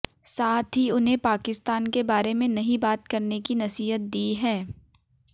साथ ही उन्हें पाकिस्तान के बारे में नहीं बात करने की नसीहत दी है